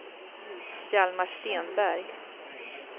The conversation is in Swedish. Hjalmar Stenberg